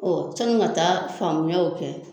Ɔ sanin ka taa faamuyaw kɛ